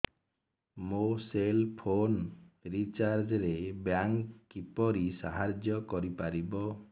ମୋ cell phone recharge ରେ bank କିପରି ସାହାଯ୍ୟ କରିପାରିବ